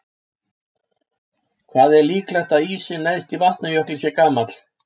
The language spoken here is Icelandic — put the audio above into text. Hvað er líklegt að ísinn neðst í Vatnajökli sé gamall?